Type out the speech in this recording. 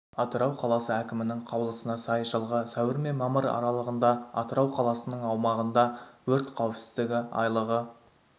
атырау қаласы әкімінің қаулысына сай жылғы сәуір мен мамыр аралығында атырау қаласының аумағында өрт қауіпсіздігі айлығы